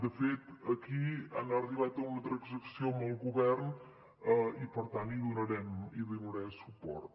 de fet aquí han arribat a una transacció amb el govern i per tant hi donarem suport